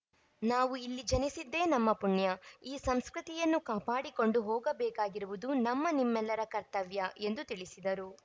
ನಾವು ಇಲ್ಲಿ ಜನಿಸಿದ್ದೆ ನಮ್ಮ ಪುಣ್ಯ ಈ ಸಂಸ್ಕೃತಿಯನ್ನು ಕಾಪಾಡಿಕೊಂಡು ಹೋಗಬೇಕಾಗಿರುವುದು ನಮ್ಮ ನಿಮ್ಮೆಲ್ಲರ ಕರ್ತವ್ಯ ಎಂದು ತಿಳಿಸಿದರು